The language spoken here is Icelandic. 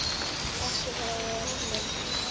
Ekki þó af öllum.